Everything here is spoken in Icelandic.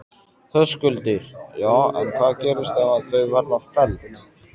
Höskuldur: Já en hvað gerist ef að þau verða felld?